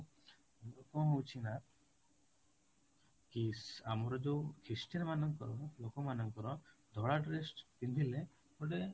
କଣ ହଉଛି ନା କି ଆମର ଯୋଉ christian ମାନଙ୍କର ଲୋକମାନଙ୍କର ଧଳା dress ପିନ୍ଧିଲେ ଗୋଟେ